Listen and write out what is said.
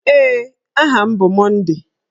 Ee, aha m bụ Monday.